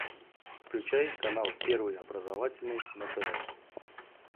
включай канал первый образовательный на тв